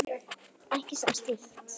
Ekki sem slíkt.